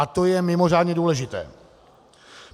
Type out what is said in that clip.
A to je mimořádně důležité.